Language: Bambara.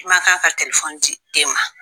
I ma kan ka di den ma.